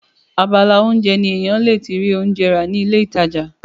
abala oúnjẹ ni èèyàn le ti rí oúnjẹ rà ní ilé ìtajà